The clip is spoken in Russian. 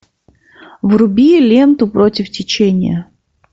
вруби ленту против течения